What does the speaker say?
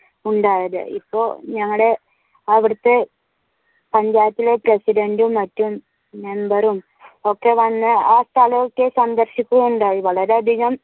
ഉണ്ടായത് ഇപ്പൊ ഞങ്ങളുടെ അവിടത്തെ പഞ്ചായത്തിലെ പ്രസിഡന്റും മറ്റും മെമ്പറും ഒക്കെ വന്നു സ്ഥലമൊക്കെ സന്ദർശിക്കുകയുണ്ടായി വളരെയധികം